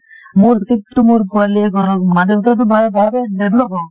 মোৰ seat টো মোৰ পোৱালীয়ে কৰক মা দেউতাই টো ভা ভাবে develop হওঁক।